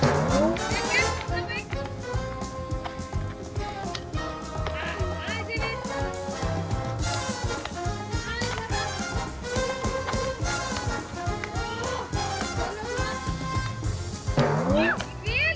vel